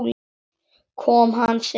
Kom hann seint?